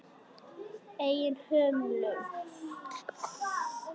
Eigin hömlum.